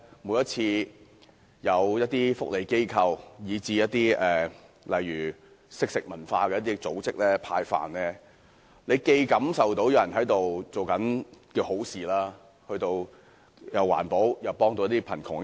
每當有福利機構，如"惜食堂"等組織派飯時，大家或會感受到有人在做善事，既環保又可幫助貧窮人口。